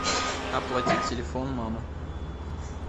оплатить телефон мамы